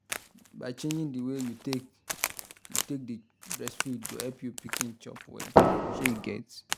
by changing the way you take you take dey breastfeed go help your pikin chop well shey you get